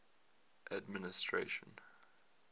administration